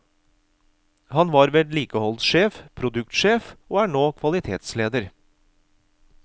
Han har vært vedlikeholdssjef, produksjonssjef og er nå kvalitetsleder.